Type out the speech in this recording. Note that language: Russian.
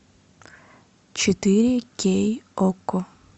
четыре кей окко